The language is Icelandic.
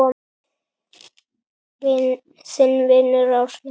Þinn vinur, Árni Þór.